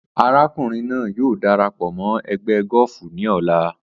Arákùnrin náà yóò darapọ̀ mọ́ ẹgbẹ́ gọ́ọ̀fù ní ọ̀la